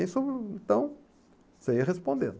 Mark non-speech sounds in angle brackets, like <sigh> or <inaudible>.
<unintelligible> Então, você ia respondendo.